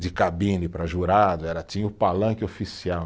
de cabine para jurado era, tinha o palanque oficial.